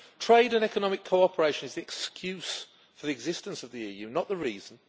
Trade and economic cooperation is the excuse for the existence of the EU, not the reason.